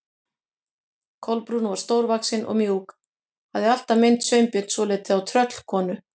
Kolbrún var stórvaxin og mjúk, hafði alltaf minnt Sveinbjörn svolítið á tröllkonu.